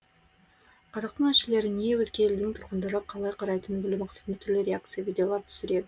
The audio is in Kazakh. қазақтың әншілеріне өзге елдің тұрғындары қалай қарайтынын білу мақсатында түрлі реакция видеолар түсіре